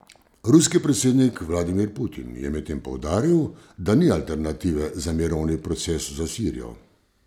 Ruski predsednik Vladimir Putin je medtem poudaril, da ni alternative za mirovni proces za Sirijo.